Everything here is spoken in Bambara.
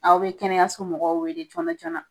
Aw bɛ kɛnɛyaso mɔgɔw wele jɔnajɔna